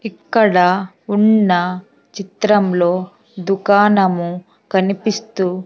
ఇక్కడ ఉన్న చిత్రంలో దుకాణము కనిపిస్తూ--